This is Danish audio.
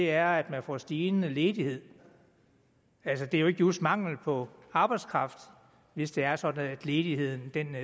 er at man får stigende ledighed altså det er jo ikke just mangel på arbejdskraft hvis det er sådan at ledigheden